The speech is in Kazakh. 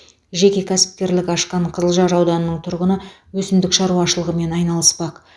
жеке кәсіпкерлік ашқан қызылжар ауданының тұрғыны өсімдік шаруашылығымен айналыспақ